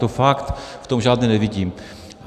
To fakt v tom žádné nevidím.